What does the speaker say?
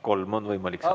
Kolm on võimalik saada.